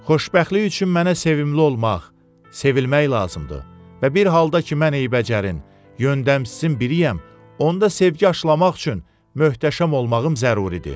Xoşbəxtlik üçün mənə sevimli olmaq, sevilmək lazımdır və bir halda ki, mən eybəcər, yöndəmsizin biriyəm, onda sevgi aşılamaq üçün möhtəşəm olmağım zəruridir.